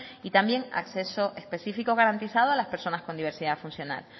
y también acceso específico garantizado a las personas con diversidad funcional